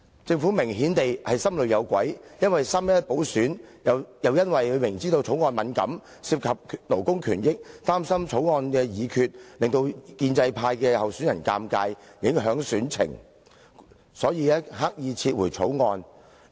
政府明顯是心裏有鬼，因為"三一一"補選，又因為政府明知《條例草案》敏感，涉及勞工權益，擔心《條例草案》的議決，會令建制派候選人尷尬而影響選情，所以，政府刻意撤回《條例草案》。